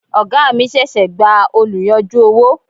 Oga mi ṣẹ̀ṣẹ̀ gba oluyanju owó.